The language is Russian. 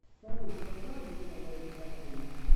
салют когда обычно дают отопление